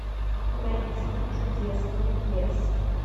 найти чудесный лес